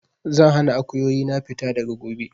Zan hana Akuyoyi na fita daga gobe!